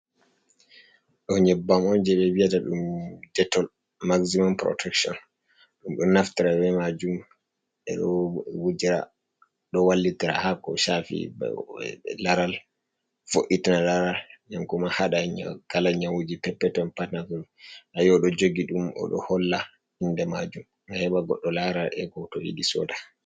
Ɗo nyebbam on je ɓe viyata ɗum jettol maximum protection ɗum ɗo naftira be majum ɓeɗo wujira ɗo wallitira hako sha fi be laral voi'tna laral den kuma hada kala nyawu'ji peppeton patna nayi o ɗo jogi ɗum oɗo holla inde majum ga heba goddo lara ego to yidi soda.